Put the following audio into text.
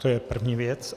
To je první věc.